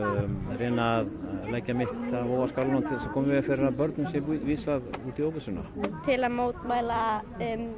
reyna að leggja mitt á vogarskálarnar til að koma í veg fyrir að börnum sé vísað út í óvissuna til að mótmæla